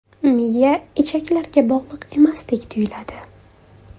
Miya ichaklarga bog‘liq emasdek tuyuladi.